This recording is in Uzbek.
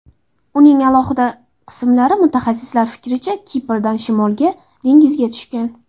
Uning alohida qismlari, mutaxassislar fikricha, Kiprdan shimolga, dengizga tushgan.